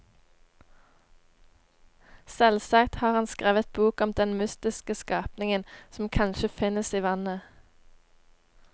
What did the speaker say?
Selvsagt har han skrevet bok om den mystiske skapningen som kanskje finnes i vannet.